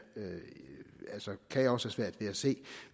også have svært ved at se